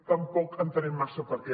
tampoc entenem massa per què